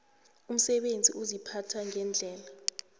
umsebenzi uziphatha ngendlela